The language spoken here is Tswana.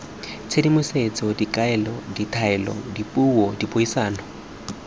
tshedimosetso dikaelo ditaelo dipuo dipuisano